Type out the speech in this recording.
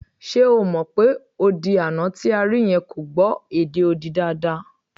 Ṣe o mọ̀ pé odi àná tí a rí yẹn kò gbọ́ èdè odi dáadáa?